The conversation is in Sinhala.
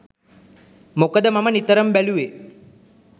මොකද මම නිතරම බැලූවේ